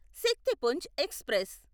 Shaktipunj express